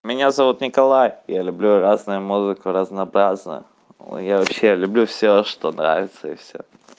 меня зовут николай я люблю разную музыку разнообразную я вообще люблю все что нравится и все